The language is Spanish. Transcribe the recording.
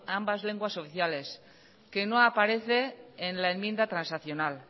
ambas lenguas oficiales que no aparece en la enmienda transaccional